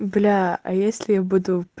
бля а если я буду